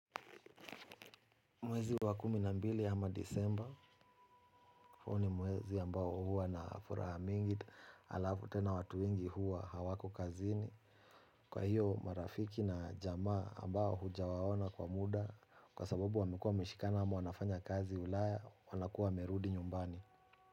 Mwezi wa kumi na mbili ama disemba, hu ni muwezi ambao huwa na furaha mingi, alafu tena watu wengi huwa hawako kazini. Kwa hiyo marafiki na jamaa ambao hujawaona kwa muda, kwa sababu wamekua wameshikana ama wanafanya kazi ulaya, wanakua wamerudi nyumbani.